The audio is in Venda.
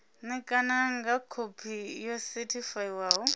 ṋekana nga khophi yo sethifaiwaho